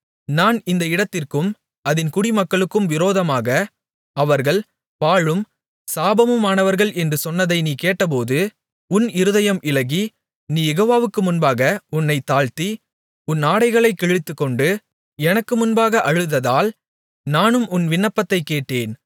நான் இந்த இடத்திற்கும் அதின் குடிமக்களுக்கும் விரோதமாக அவர்கள் பாழும் சாபமுமாவார்கள் என்று சொன்னதை நீ கேட்டபோது உன் இருதயம் இளகி நீ யெகோவாவுக்கு முன்பாக உன்னைத் தாழ்த்தி உன் ஆடைகளைக் கிழித்துக்கொண்டு எனக்குமுன்பாக அழுததால் நானும் உன் விண்ணப்பத்தைக் கேட்டேன்